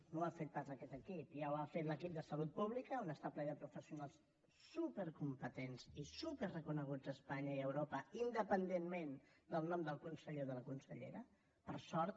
no ho ha fet pas aquest equip ja ho ha fet l’equip de salut pública que està ple de professionals supercompetents i superreconeguts a espanya i a europa independentment del nom del conseller o de la consellera per sort